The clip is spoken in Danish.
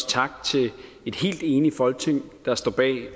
tak til et helt enigt folketing der står bag